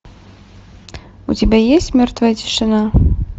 у тебя есть мертвая тишина